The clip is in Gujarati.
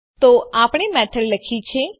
તો આપણે મેથડ લખી છે